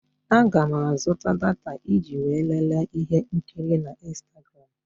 Aga m azụta data iji wee lelee ihe nkiri na ịnstagram.